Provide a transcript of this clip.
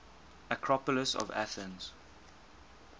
acropolis of athens